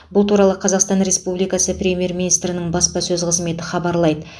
бұл туралы қазақстан республикасы премьер министрінің баспасөз қызметі хабарлайды